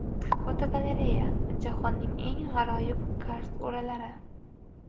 Fotogalereya: Jahonning eng g‘aroyib karst o‘ralari.